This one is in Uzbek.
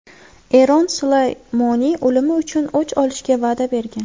Eron Sulaymoniy o‘limi uchun o‘ch olishga va’da bergan.